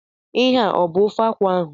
Ihe a ọ bụ ofe akwụ ahụ?